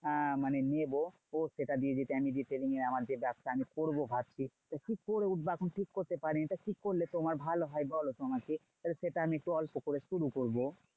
আহ মানে নেবো সেটা দিয়ে যেটা আমি retailing এর আমার যে ব্যবসা আমি করবো ভাবছি। কি করে উঠবো এখনো ঠিক করতে পারিনি? তা ঠিক করলে তোমার ভালো হয় বলতো আমাকে। তাহলে সেটা আমি অল্প করে শুরু করবো।